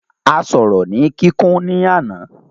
A sọ̀rọ̀ ni kíkún ní àná.